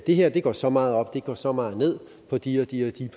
det her går så meget op og det her går så meget ned på de og de